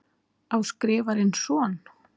Á Skrifarinn son?